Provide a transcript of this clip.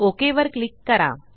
okay वर click करा